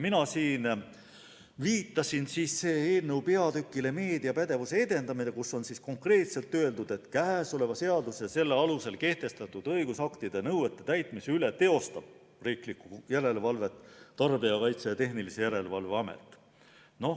Mina viitasin eelnõu peatükile "Meediapädevuse edendamine", kus on konkreetselt öeldud, et käesoleva seaduse ja selle alusel kehtestatud õigusaktide nõuete täitmise üle teostab riiklikku järelevalvet Tarbijakaitse ja Tehnilise Järelevalve Amet.